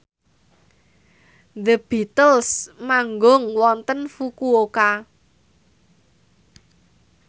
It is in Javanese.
The Beatles manggung wonten Fukuoka